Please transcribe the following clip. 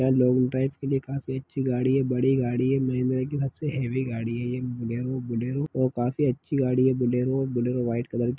long drive के लिए काफी अच्छी गाड़ी है बड़ी गाड़ी है महिंद्रा की सबसे हेवी गाड़ी है ये बुलेरो -बुलेरो और काफी अच्छी गाड़ी है बुलेरो और बुलेरो व्हाइट कलर की --